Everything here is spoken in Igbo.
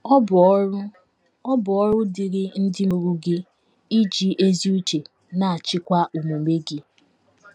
Ọ bụ ọrụ Ọ bụ ọrụ dịịrị ndị mụrụ gị iji ezi uche na - achịkwa omume gị.